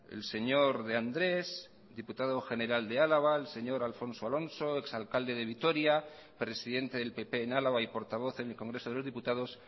el señor de andrés diputado general de álava el señor alfonso alonso ex alcalde de vitoria presidente del pp en álava y portavoz en el congreso de los diputados